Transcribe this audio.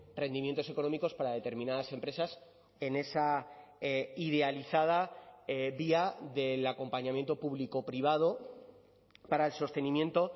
rendimientos económicos para determinadas empresas en esa idealizada vía del acompañamiento público privado para el sostenimiento